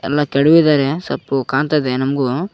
ಎಲ್ಲ ಕೆಡವಿದರೆ ಸಪ್ಪು ಕಾಣ್ತಇದೆ ನಮ್ಗು.